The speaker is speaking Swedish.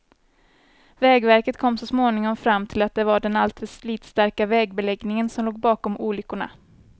Vägverket kom så småningom fram till att det var den alltför slitstarka vägbeläggningen som låg bakom olyckorna.